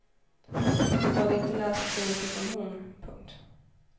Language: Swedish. Hade inte läst så mycket som hon. punkt